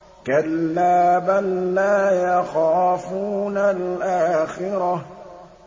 كَلَّا ۖ بَل لَّا يَخَافُونَ الْآخِرَةَ